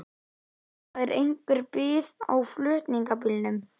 En það er einhver bið á flutningabílnum.